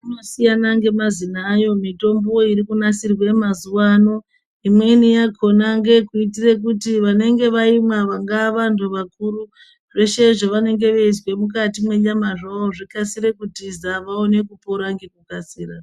Inosiyana ngemazina ayo mitombo irikunasirwa mazuwa ano imweni yakona ngeyekuitira kuti vanenge vaimwa vangave vandu vakuru zveshe zvavanenge veizwe mukati mwenyamazvo zvikasire kutiza vaone kupora ngekukasira.